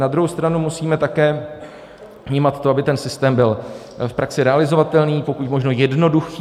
Na druhou stranu musíme také vnímat to, aby ten systém byl v praxi realizovatelný, pokud možno jednoduchý.